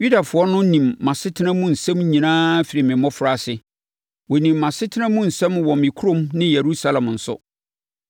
“Yudafoɔ no nim mʼasetena mu nsɛm nyinaa firi me mmɔfraase. Wɔnim mʼasetena mu nsɛm wɔ me kurom ne Yerusalem nso.